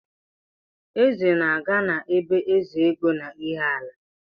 Eze na-aga na be Ezeego n'Iheala